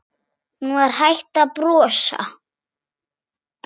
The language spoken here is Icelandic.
Hún var hætt að brosa.